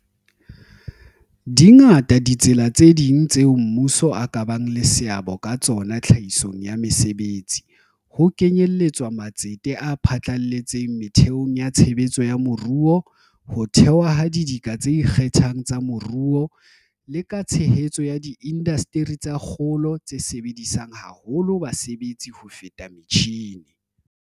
Di ngata ditsela tse ding tseo mmuso o ka bang le seabo ka tsona tlhahisong ya mesebetsi, ho kenyeletswa matsete a phatlaletseng metheong ya tshebetso ya moruo, ho thewa ha didika tse ikgethang tsa moruo, le ka tshehetso ya diindasteri tsa kgolo tse sebedisang haholo basebetsi ho feta metjhine.